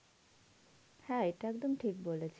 হ্যাঁ এটা একদম ঠিক বলেছিস.